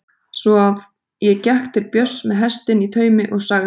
Svo að ég gekk til Björns með hestinn í taumi og sagði